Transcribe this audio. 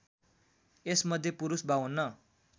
यसमध्ये पुरुष ५२